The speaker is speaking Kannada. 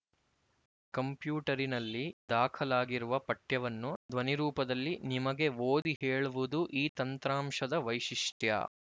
ಕಂಪ್ಯೂಟರಿನಲ್ಲಿ ದಾಖಲಾಗಿರುವ ಪಠ್ಯವನ್ನು ಧ್ವನಿರೂಪದಲ್ಲಿ ನಿಮಗೆ ಓದಿಹೇಳುವುದು ಈ ತಂತ್ರಾಂಶದ ವೈಶಿಷ್ಟ್ಯ